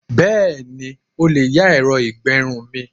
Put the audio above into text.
Bẹ́ẹ̀ni, o lè yá ẹ̀rọ ìgbẹrun mi.